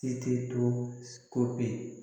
E tɛ to ko bi